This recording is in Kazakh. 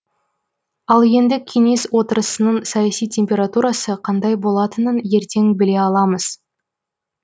ал енді кеңес отырысының саяси температурасы қандай болатынын ертең біле аламыз